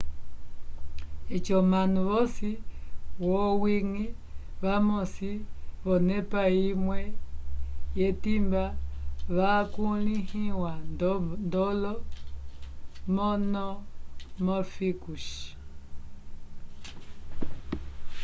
eci omanu vosi v'owiñgi vamosi k'onepa imwe yetimba vakulĩhiwa ndolo monomórficos